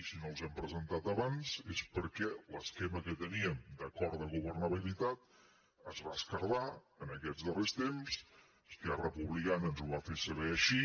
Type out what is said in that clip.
i si no els hem presentat abans és perquè l’esquema que teníem d’acord de governabilitat es va esquerdar en aquests darrers temps esquerra republicana ens ho va fer saber així